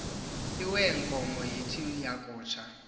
iweenkomo yinto yakutsha